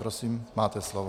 Prosím, máte slovo.